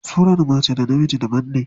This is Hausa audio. Surar mace da na mijin daban ne.